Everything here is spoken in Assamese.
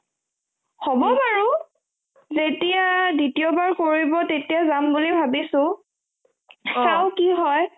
হ'ব বাৰো তেতিয়া দ্বিতীয়বাৰ কৰিব তেতিয়া জাম বুলি ভাবিছো চাও কি হয়